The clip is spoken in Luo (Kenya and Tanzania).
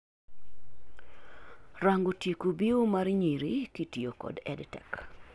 rango tieko biewo mar nyiri kitiyo kod EdTech